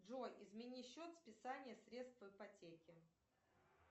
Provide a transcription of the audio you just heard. джой измени счет списания средств ипотеки